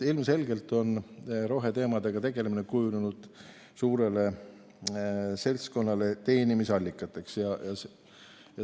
Ilmselgelt on roheteemadega tegelemine kujunenud suurele seltskonnale teenimisallikaks.